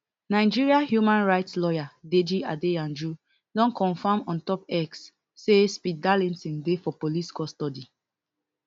nigeria human right lawyer deyi adeyanju don confam ontop x say speed darlington dey for police custody